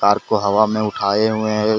Car को हवा में उठाएं हुए है।